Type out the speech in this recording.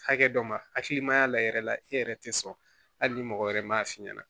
Hakɛ dɔ ma hakili ma y'a la yɛrɛ la e yɛrɛ tɛ sɔn hali ni mɔgɔ wɛrɛ m'a f'i ɲɛna